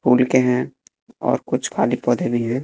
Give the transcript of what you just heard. Full के हैं और कुछ खाली पौधे भी हैं।